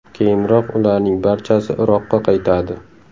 Keyinroq ularning barchasi Iroqqa qaytadi.